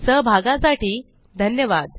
सहभागासाठी धन्यवाद